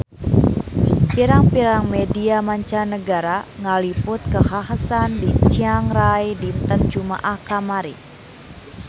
Pirang-pirang media mancanagara ngaliput kakhasan di Chiang Rai dinten Jumaah kamari